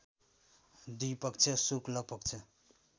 दुई पक्ष शुक्ल पक्ष